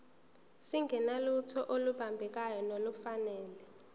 singenalutho olubambekayo nolufanele